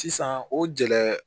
Sisan o gɛlɛ